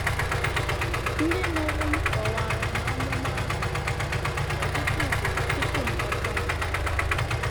“ Ndị mụrụ m kọwaara m amụma ahụ ọtụtụ ugboro tupu m ghọta ya. ”